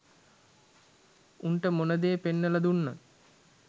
උන්ට මොනදේ පෙන්නලා දුන්නත්